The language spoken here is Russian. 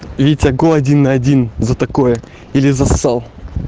витя го один на один за такое или зассал